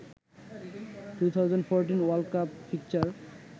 2014 world cup fixture